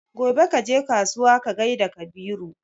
gobe kaje kasuwa ka gaida Kabiru